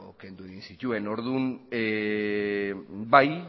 kendu egin zituen orduan bai